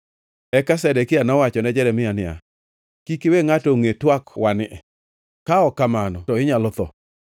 Eka Zedekia nowachone Jeremia niya, “Kik iwe ngʼato ongʼe twak-wani, ka ok kamano to inyalo tho.